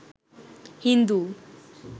Hindu